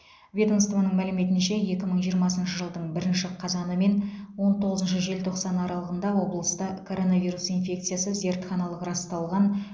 ведомствоның мәліметінше екі мың жиырмасыншы жылдың бірінші қазаны мен он тоғызыншы желтоқсаны аралығында облыста коронавирус инфекциясы зертханалық расталған